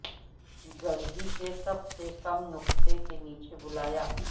گڑہی کے سب سے کم نقطہ کے نیچے بلایا